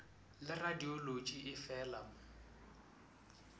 le radiolotši e feela o